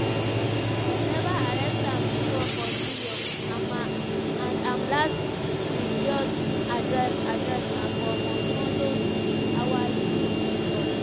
dem never arrest am before for new york and ma and im last previous address address na for honolulu hawaii police tok.